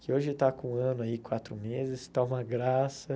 Que hoje está com um ano aí, quatro meses, está uma graça.